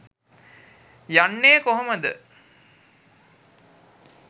යන්නේ කොහොමද